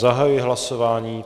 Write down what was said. Zahajuji hlasování.